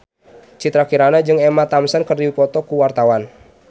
Citra Kirana jeung Emma Thompson keur dipoto ku wartawan